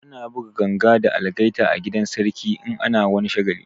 Ana buga ganga da algaita a gidan sarki in ana wani shagali